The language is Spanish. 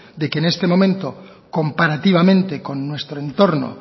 de que en este momento comparativamente con nuestro entorno